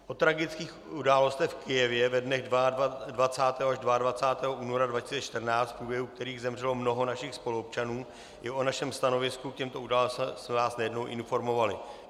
O tragických událostech v Kyjevě ve dnech 20. až 22. února 2014, v průběhu kterých zemřelo mnoho našich spoluobčanů, i o našem stanovisku k těmto událostem jsme vás nejednou informovali.